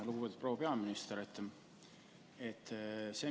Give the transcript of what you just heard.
Lugupeetud proua peaminister!